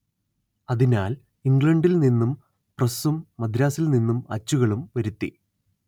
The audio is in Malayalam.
അതിനാൽ ഇംഗ്ലണ്ടിൽ നിന്നും പ്രസ്സും മദ്രാസിൽ നിന്നും അച്ചുകളും വരുത്തി